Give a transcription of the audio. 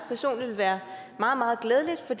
personligt vil være meget meget glædeligt for